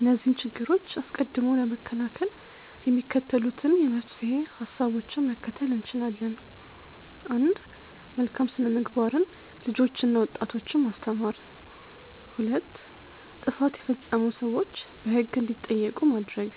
እነዚህን ችግሮች አስቀድሞ ለመከላከል የሚከተሉትን የመፍትሄ ሀሳቦችን መከተል እንችላለን፦ 1. መልካም ሥነ-ምግባርን ልጆችና ወጣቶችን ማስተማር። 2. ጥፋት የፈጸሙ ሰዎች በሕግ እንዲጠየቁ ማድረግ።